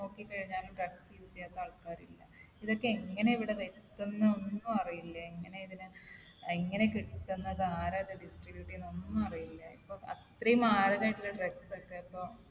നോക്കി കഴിഞ്ഞാലും drugs use ചെയ്യാത്ത ആൾക്കാരില്ല. ഇതൊക്കെ എങ്ങനെ ഇവിടെ എത്തുന്നു ഒന്നും അറിയില്ല. എങ്ങനെ ഇതിന് എങ്ങനെ കിട്ടുന്നത്? ആരാ ഇത് distribute ചെയ്യുന്നത്? ഒന്നും അറിയില്ല. ഇപ്പൊ അത്രയും മാരകമായിട്ടുള്ള drugs ഒക്കെ ഇപ്പൊ